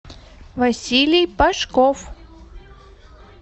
василий пашков